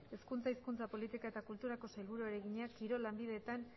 hezkuntza hizkuntza politika eta kulturako sailburuari egina kirol lanbideetan